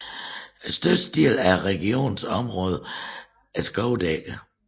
Størstedelen af regionens området er skovdækket